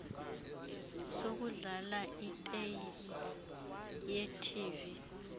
sokudlala iteyiphu yetv